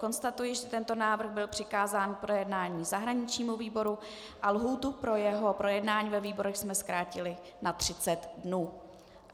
Konstatuji, že tento návrh byl přikázán k projednání zahraničnímu výboru a lhůtu pro jeho projednání ve výborech jsme zkrátili na 30 dnů.